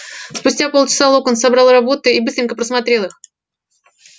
спустя полчаса локонс собрал работы и быстренько просмотрел их